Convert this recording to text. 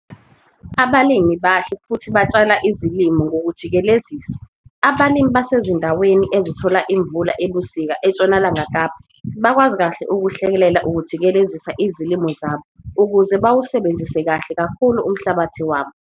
Abalimi abahle futhi batshala izilimo ngokujikelezisa. Abalimi abasezindaweni ezithola imvula ebusika eNtshonalanga Kapa bakwazi kahle ukuhlelela ukujikelezisa izilimo zabo ukuze bawusebenzise kahle kakhulu umhlabathi wabo.